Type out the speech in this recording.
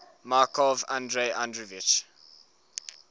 markov andrei andreevich